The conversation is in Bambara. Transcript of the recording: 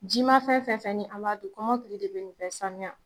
Ji ma fɛn fɛn fɛn ni an m'a dun kɔmɔkili de be nin bɛ sanuya